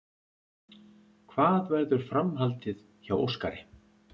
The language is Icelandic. Hvað verður framhaldið hjá Óskari?